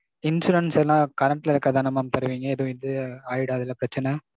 Insurance எல்லாம் current ல இருக்குறது தானே mam தருவீங்க. எதுவும் இது ஆயிடாதுல பிரச்சனை?